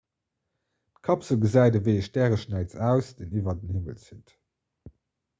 d'kapsel gesäit ewéi e stäreschnäiz aus deen iwwer den himmel zitt